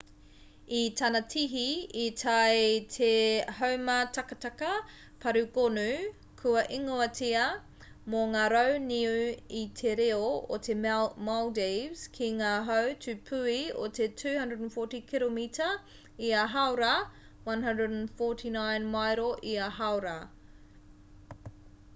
i tana tihi i tae te haumātakataka pārū gonu kua ingoatia mō ngā rau niu i te reo o te maldives ki ngā hau tūpuhi o te 240 kiromita ia hāora 149 mairo ia hāora